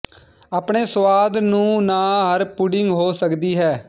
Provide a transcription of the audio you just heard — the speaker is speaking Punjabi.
ਆਪਣੇ ਸੁਆਦ ਨੂੰ ਨਾ ਹਰ ਪੁਡਿੰਗ ਹੋ ਸਕਦੀ ਹੈ